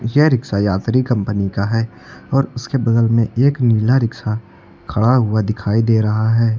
यह रिक्शा यात्री कंपनी का है और उसके बगल में एक नीला रिक्शा खड़ा हुआ दिखाई दे रहा है।